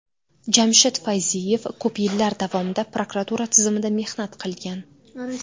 Jamshid Fayziyev ko‘p yillar davomida prokuratura tizimida mehnat qilgan.